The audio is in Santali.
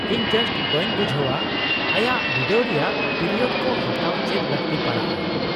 -ᱤᱧ ᱡᱟᱥᱴ ᱵᱟᱹᱧ ᱵᱩᱡᱷᱟᱹᱣᱟ ᱟᱭᱟᱜ ᱵᱤᱰᱟᱹᱣ ᱨᱮᱭᱟᱜ ᱯᱤᱨᱤᱭᱳᱰ ᱠᱚ ᱦᱟᱛᱟᱣ ᱪᱮᱫ ᱞᱟᱹᱠᱛᱤ ᱯᱟᱲᱟᱜᱼᱟ ᱾